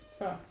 Før